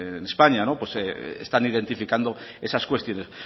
en españa están identificando esas cuestiones